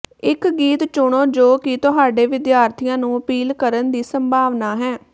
ਇੱਕ ਗੀਤ ਚੁਣੋ ਜੋ ਕਿ ਤੁਹਾਡੇ ਵਿਦਿਆਰਥੀਆਂ ਨੂੰ ਅਪੀਲ ਕਰਨ ਦੀ ਸੰਭਾਵਨਾ ਹੈ